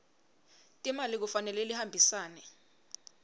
timali kufanele lihambisane